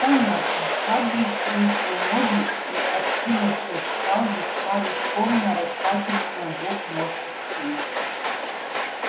понятно хардин скрестил ноги и откинувшись стал весьма рискованно раскачиваться на двух ножках стула